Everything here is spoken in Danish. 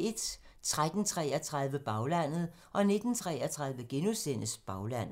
13:33: Baglandet 19:33: Baglandet *